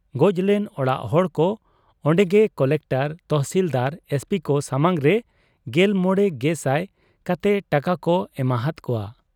ᱜᱚᱡ ᱞᱮᱱ ᱚᱲᱟᱜ ᱦᱚᱲᱠᱚ ᱚᱱᱰᱮᱜᱮ ᱠᱚᱞᱮᱠᱴᱚᱨ, ᱛᱚᱦᱥᱤᱞᱫᱟᱨ, ᱮᱥᱯᱤᱠᱚ ᱥᱟᱢᱟᱝᱨᱮ ᱕᱐᱐᱐᱐ ᱠᱟᱛᱮ ᱴᱟᱠᱟᱠᱚ ᱮᱢᱟ ᱦᱟᱫ ᱠᱚᱣᱟ ᱾